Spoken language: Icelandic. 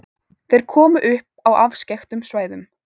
Þeir komu upp á afskekktum svæðum.